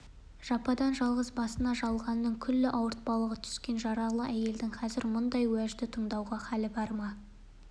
жападан-жалғыз басына жалғанның күллі ауыртпалығы түскен жаралы әйелдің қазір мұндай уәжді тыңдауға хәлі бар ма